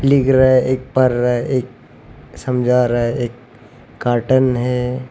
लिख रहा है एक पढ़ रहा है एक समझा रहा है एक कार्टन है।